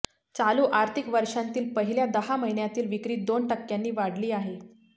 चालू आर्थिक वर्षांतील पहिल्या दहा महिन्यातील विक्री दोन टक्क्य़ांनी वाढली आहे